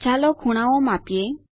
ચાલો ખૂણાઓ માપીએ